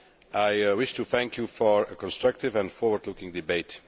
I wish to thank you for a constructive and forward looking debate.